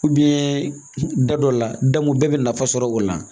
da dɔ la bɛɛ bɛ nafa sɔrɔ o la